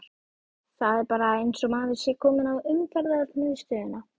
Það er bara eins og maður sé kominn á Umferðarmiðstöðina!